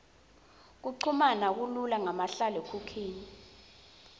kuchumana kulula ngamahlalekhukhwini